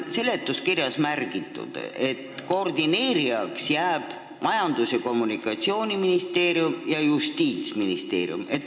Seletuskirjas on märgitud, et koordineerijaks jäävad Majandus- ja Kommunikatsiooniministeerium ning Justiitsministeerium.